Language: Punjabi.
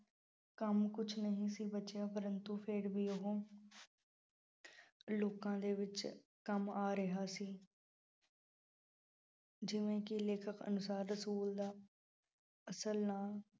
ਕੰਮ ਕੁੱਛ ਨਹੀਂ ਸੀ ਬਚਿਆ ਪ੍ਰੰਤੂ ਫਿਰ ਵੀ ਉਹ ਲੋਕਾਂ ਦੇ ਵਿੱਚ ਕੰਮ ਆ ਰਿਹਾ ਸੀ ਜਿਵੇਂ ਕਿ ਲੇਖਕ ਅਨੁਸਾਰ ਰਸੂਲ ਦਾ ਅਸਲ ਨਾਂ